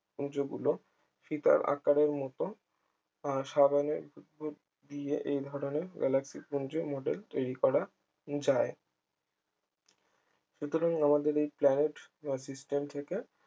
পুঞ্জগুলো ফিতার আকারের মতো আহ সাবানের বুদবুদ দিয়ে এই ধরনের galaxy পুঞ্জ model তৈরি করা যায় সুতরাং এই আমাদের এই planet system থেকে